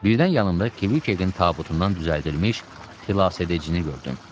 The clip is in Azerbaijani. Birdən yanımda Kviçekin tabutundan düzəldilmiş xilas edicini gördüm.